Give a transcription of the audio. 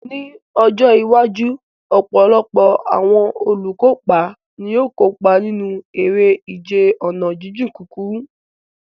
Ní ọjọ́ iwájú, ọ̀pọ̀lọpọ̀ àwọn olùkópa ni yóò kópa nínú eré ìje ọ̀nà jíjìn kúkúrú.